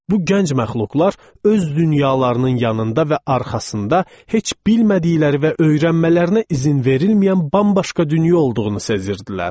Bu gənc məxluqlar öz dünyalarının yanında və arxasında heç bilmədikləri və öyrənmələrinə izin verilməyən bambaşqa dünya olduğunu sezirdilər.